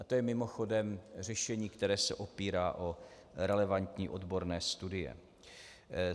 A to je mimochodem řešení, které se opírá o relevantní odborné studie.